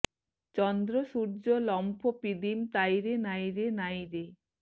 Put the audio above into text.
চন্দ্ৰ সূৰ্য্য লম্ফ পিদিম তাই রে নাইরে নাই রে